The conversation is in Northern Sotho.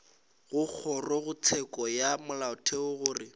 go kgorotsheko ya molaotheo gore